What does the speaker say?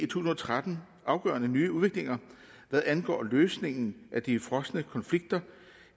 tusind og tretten afgørende nye udviklinger hvad angår løsningen af de frosne konflikter